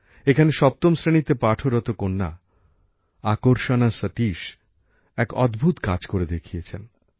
এখানে সপ্তম শ্রেণীতে পাঠরত কন্যা আকর্ষণা সতীশ এক অদ্ভুত কাজ করে দেখিয়েছেন